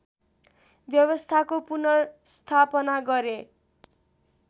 व्यवस्थाको पुनर्स्थापना गरे